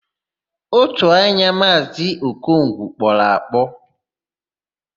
Ótù anya Maazị Okongwu kpọrọ akpọ.